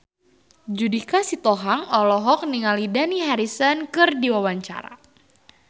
Judika Sitohang olohok ningali Dani Harrison keur diwawancara